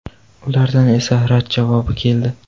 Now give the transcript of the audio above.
Ulardan esa rad javobi keldi.